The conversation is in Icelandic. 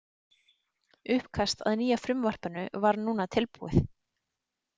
Uppkast að nýja frumvarpinu var núna tilbúið.